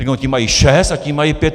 Řeknou: ti mají šest a ti mají pět.